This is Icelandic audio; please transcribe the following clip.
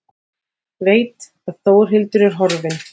Veit að Þórhildur er horfin.